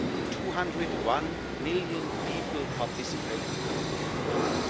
201 million people participated in the European elections.